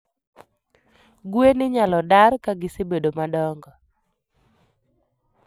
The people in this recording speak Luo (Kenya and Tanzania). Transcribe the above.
gwen inyalo dar kagisebedo madongo